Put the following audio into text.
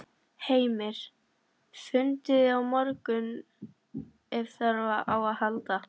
Heimir: Fundið á morgun ef þarf á að halda?